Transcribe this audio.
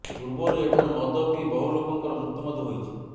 ପୂର୍ବରୁ ଏଠାରୁ ମଦ ପିଇ ବହୁ ଲୋକଙ୍କର ମୃତ୍ୟୁ ମଧ୍ୟ ହୋଇଛି